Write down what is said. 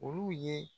Olu ye